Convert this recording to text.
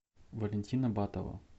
валентина батова